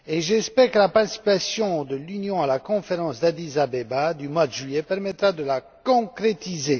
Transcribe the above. J'espère que la participation de l'Union à la conférence d'Addis Abeba du mois de juillet permettra de la concrétiser.